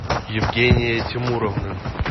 евгения тимуровна